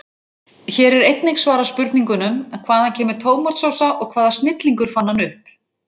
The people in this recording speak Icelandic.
Hér er einnig svarað spurningunum: Hvaðan kemur tómatsósa og hvaða snillingur fann hana upp?